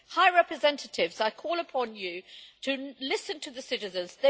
High Representative, I call upon you to listen to the citizens.